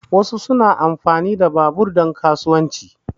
Wasu suna amfani da babur domin kasuwanci.